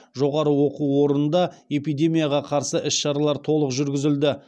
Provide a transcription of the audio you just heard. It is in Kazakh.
жоғары оқу орнында эпидемияға қарсы іс шаралар толық жүргізілді